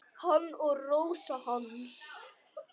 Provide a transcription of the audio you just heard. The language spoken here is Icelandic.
Hann og Rósa hans.